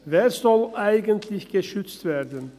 Wer soll eigentlich geschützt werden?